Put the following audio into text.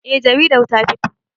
Eh jaridar ta fito.